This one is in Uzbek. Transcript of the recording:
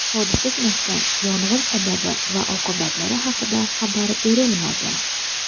Hodisa sanasi, yong‘in sababi va oqibatlari haqida xabar berilmagan.